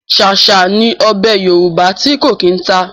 Ṣáṣá ni ọbẹ̀ Yorùbá ti ko kí n ta.